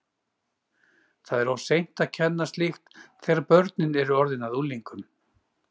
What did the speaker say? Það er of seint að kenna slíkt þegar börnin eru orðin að unglingum!